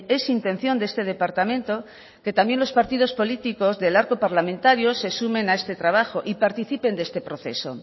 es intención de este departamento que también los partidos políticos del arco parlamentario se sumen a este trabajo y participen de este proceso